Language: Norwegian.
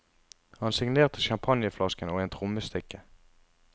Han signerte champagneflasken og en trommestikke.